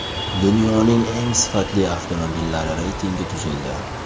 Dunyoning eng sifatli avtomobillari reytingi tuzildi.